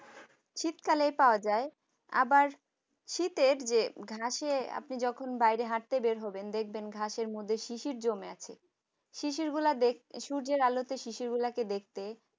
শীতকালেই পাওয়া যায়, আবার শীতের যে ঘাসে আপনি যখন বাইরে হাঁটতে বের হবেন দেখবেন ঘাসের মধ্যে শিশির জমে আছে শিশিরগোলা দেখতে সূর্যের আলোতে শিশির গুলাকে দেখতে